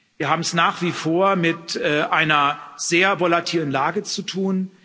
Wir haben es nach wie vor mit einer sehr volatilen Lage zu tun.